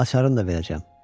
Açarını da verəcəm.